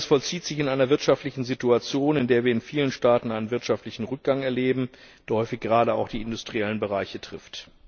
Dies alles vollzieht sich in einer wirtschaftlichen Situation, in der wir in vielen Staaten einen wirtschaftlichen Rückgang erleben, der häufig gerade auch die industriellen Bereiche trifft.